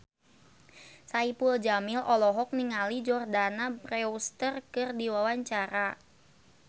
Saipul Jamil olohok ningali Jordana Brewster keur diwawancara